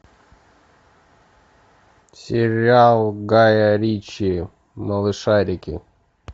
сериал гая ричи малышарики